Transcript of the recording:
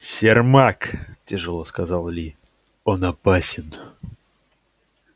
сермак тяжело сказал ли он опасен